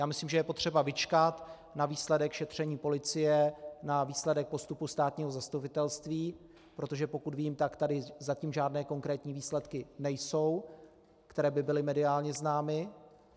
Já myslím, že je potřeba vyčkat na výsledek šetření police, na výsledek postupu státního zastupitelství, protože pokud vím, tak tady zatím žádné konkrétní výsledky nejsou, které by byly mediálně známy.